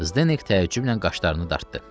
Zdenek təəccüblə qaşlarını dartdı.